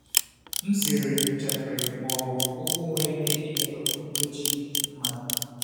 m zere njakịrị ma ọ bụ um okwu nwere ike imetọ okpukperechi mmadụ. um